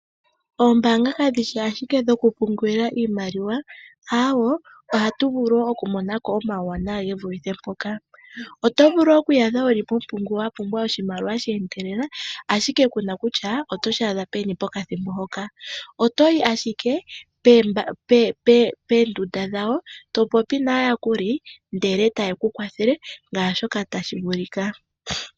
Oombaanga kadhi shi ashike dhokupungula iimaliwa, aawe, ohatu vulu okumona ko omauwanawa ge vulithe mpoka. Oto vulu okwiiyadha mompumbwe yoshimaliwa, wa pumbwa oshimaliwa she endelela, ashike ku na kutya oto shi adha peni pokathimbo mpoka. oto yi ashike poombelewa dhawo, to popi naayakuli ndele taye ku kwathele ngaashi tashi vulika.